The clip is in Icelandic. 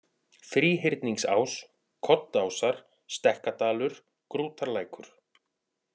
Þríhyrningsás, Koddásar, Stekkadalur, Grútarlækur